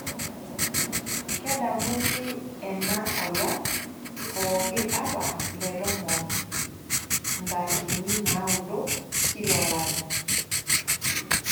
Kedamuni ena olong' pooki apa le tomon ntarikini naudoo kila olari.